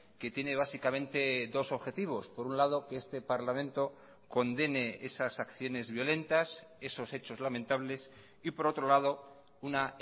que tiene básicamente dos objetivos por un lado que este parlamento condene esas acciones violentas esos hechos lamentables y por otro lado una